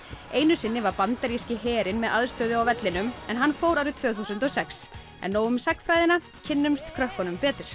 einu sinni var bandaríski herinn með aðstöðu á vellinum en hann fór árið tvö þúsund og sex en nóg um sagnfræðina kynnumst krökkunum betur